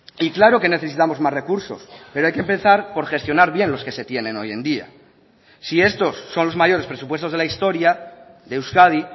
y claro que necesitamos más recursos pero hay que empezar por gestionar bien los que se tienen hoy en día si estos son los mayores presupuestos de la historia de euskadi